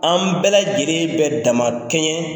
An bɛɛ lajɛlen bɛ dama kɛɲɛ